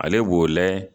Ale b'o layɛ